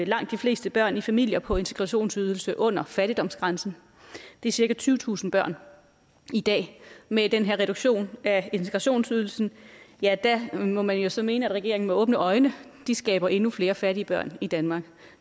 langt de fleste børn i familier på integrationsydelse under fattigdomsgrænsen det er cirka tyvetusind børn i dag med den her reduktion af integrationsydelsen ja der må man så mene at regeringen med åbne øjne skaber endnu flere fattige børn i danmark